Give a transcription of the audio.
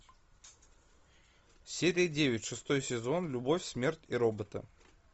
серия девять шестой сезон любовь смерть и роботы